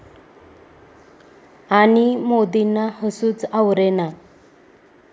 ...आणि मोदींना हसूच आवरेना